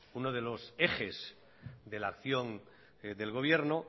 uno de los ejes de la acción del gobierno